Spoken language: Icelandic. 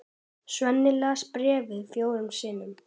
Svenni les bréfið fjórum sinnum.